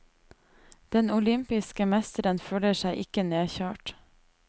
Den olympiske mesteren føler seg ikke nedkjørt.